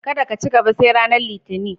Kadda da ci gaba sai ranan Litinin.